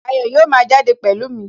Ayọ̀ yóò máa jáde pẹ̀lú mi